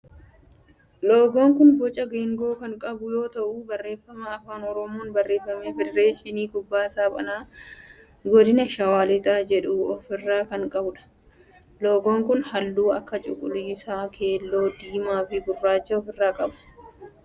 Loogoon kun boca geengoo kan qabu yoo ta'u barreeffama afaan oromoon barreeffame federeeshinii kubbaa saaphanaa godina shawaa lixaa jedhu of irraa kan qabudha. Loogoon kun halluu akka cuquliisa, keelloo, diimaa fi gurraacha of irraa qaba.